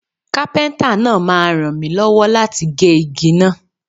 Kápẹ́ńtà náà máa ràn mi lọ́wọ́ láti gé igi náà